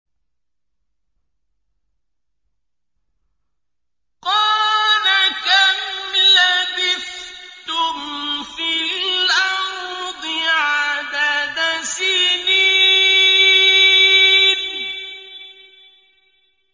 قَالَ كَمْ لَبِثْتُمْ فِي الْأَرْضِ عَدَدَ سِنِينَ